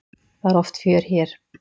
Það er oft fjör hér.